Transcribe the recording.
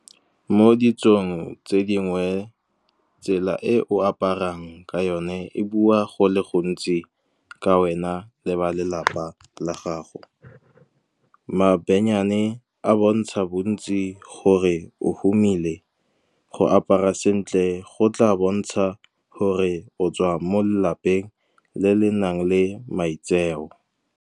Mo ditsong tse dingwe, tsela e o aparang ka yone e bua go le gontsi ka wena le ba lelapa la gago. Mabenyane a bontsha bontsi gore o humile, go apara sentle go tla bontsha gore o tswa mo lelapeng le le nang le maitseo.